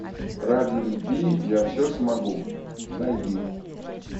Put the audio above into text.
ради любви я все смогу найди